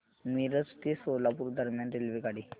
मिरज ते सोलापूर दरम्यान रेल्वेगाडी